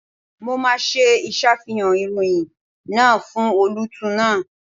Mo máa ṣe ìṣàfihàn ìròyìn náà fún olóòtú náà.